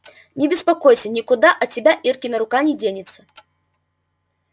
не беспокойся никуда от тебя иркина рука не денется